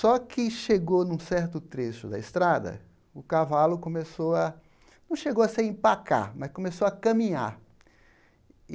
Só que chegou num certo trecho da estrada, o cavalo começou a... não chegou a se empacar, mas começou a caminhar.